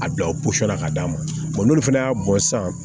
A bila o la ka d'a ma n'olu fana y'a bɔn sisan